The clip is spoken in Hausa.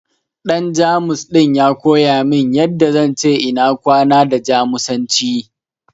Ɗan Jamus ɗin ya koya min yanda zan ce ina kwana da Jamusanci.